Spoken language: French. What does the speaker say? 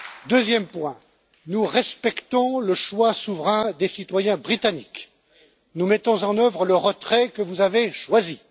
Deuxième point, nous respectons le choix souverain des citoyens britanniques. Nous mettons en œuvre le retrait que vous avez choisi.